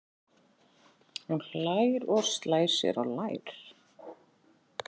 Hún hlær og slær sér á lær.